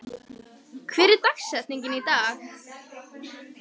, hver er dagsetningin í dag?